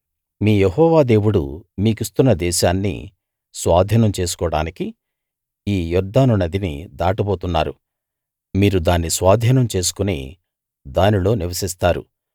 మీ యెహోవా దేవుడు మీకిస్తున్న దేశాన్ని స్వాధీనం చేసుకోడానికి ఈ యొర్దాను నదిని దాటబోతున్నారు మీరు దాన్ని స్వాధీనం చేసుకుని దానిలో నివసిస్తారు